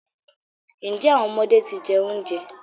Njẹ awọn ọmọde ti jẹ ounjẹ?